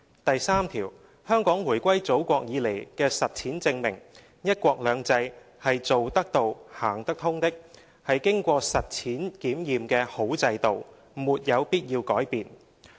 第三條，香港回歸祖國以來的實踐證明，'一國兩制'是做得到、行得通的，是經過實踐檢驗的好制度，沒有必要改變。